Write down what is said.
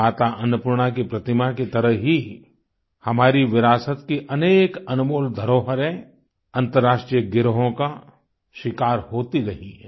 माता अन्नपूर्णा की प्रतिमा की तरह ही हमारी विरासत की अनेक अनमोल धरोहरें अंतर्राष्ट्रीय गिरोंहों का शिकार होती रही हैं